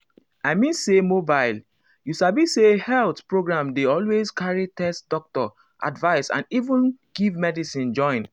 i mean say mobile you sabi say health programndey always carry test doctor advice and even give medicine join.